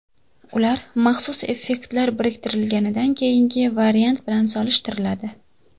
Ular maxsus effektlar kiritilganidan keyingi variant bilan solishtiriladi.